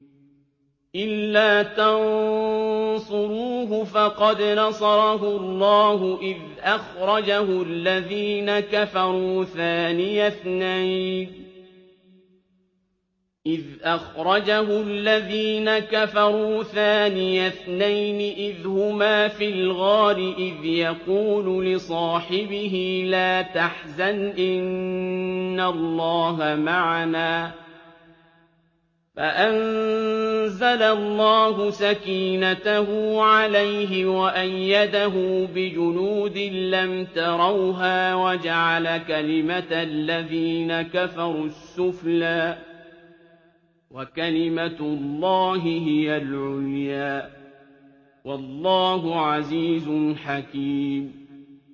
إِلَّا تَنصُرُوهُ فَقَدْ نَصَرَهُ اللَّهُ إِذْ أَخْرَجَهُ الَّذِينَ كَفَرُوا ثَانِيَ اثْنَيْنِ إِذْ هُمَا فِي الْغَارِ إِذْ يَقُولُ لِصَاحِبِهِ لَا تَحْزَنْ إِنَّ اللَّهَ مَعَنَا ۖ فَأَنزَلَ اللَّهُ سَكِينَتَهُ عَلَيْهِ وَأَيَّدَهُ بِجُنُودٍ لَّمْ تَرَوْهَا وَجَعَلَ كَلِمَةَ الَّذِينَ كَفَرُوا السُّفْلَىٰ ۗ وَكَلِمَةُ اللَّهِ هِيَ الْعُلْيَا ۗ وَاللَّهُ عَزِيزٌ حَكِيمٌ